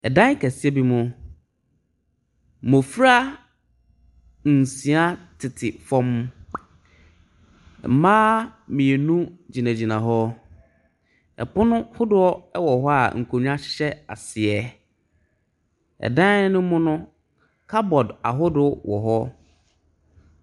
Dan kɛseɛ bi mu, mmɔfra nsia tete famu, mmaa mmienu gyinagyina hɔ, pono hodoɔ wɔ hɔ a nkonnwa hyehyɛ aseɛ. Dan ne mu no, cupboard hodoɔ wɔ hɔ.